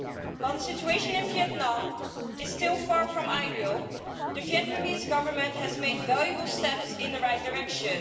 While the situation in Vietnam is still far from ideal, the Vietnamese Government has taken valuable steps in the right direction.